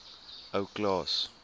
ou klaas